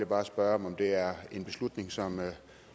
bare spørge om det er en beslutning som